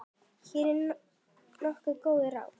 Hér eru nokkur góð ráð.